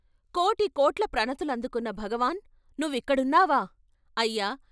"కోటి కోట్ల ప్రణతులందుకున్న భగవాన్ నువ్విక్కడున్నావా, "" అయ్యా!